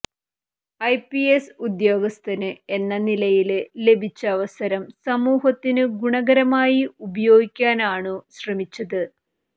IPS ഉദ്യോഗസ്ഥന് എന്ന നിലയില് ലഭിച്ച അവസരം സമൂഹത്തിനു ഗുണകരമായി ഉപയോഗിക്കാനാണു ശ്രമിച്ചത്